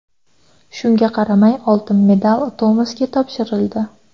Shunga qaramay oltin medal Tomasga topshirildi.